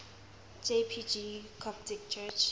jpg coptic church